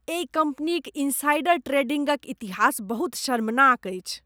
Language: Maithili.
एहि कम्पनीक इनसाइडर ट्रेडिंगक इतिहास बहुत शर्मनाक अछि।